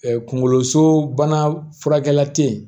kunkoloso bana furakɛ